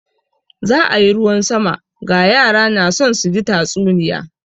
Za a yi ruwan sama, ga yara na son su ji tatsuniya.